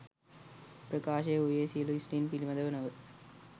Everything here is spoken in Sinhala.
ප්‍රකාශය වූයේ සියලු ස්ත්‍රීන් පිළිබඳ නොව,